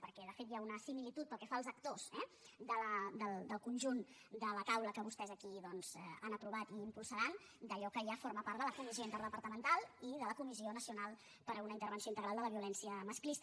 perquè de fet hi ha una similitud pel que fa als actors eh del conjunt de la taula que vostès aquí doncs han aprovat i impulsaran d’allò que ja forma part de la comissió interdepartamental i de la comissió nacional per a una intervenció integral contra la violència masclista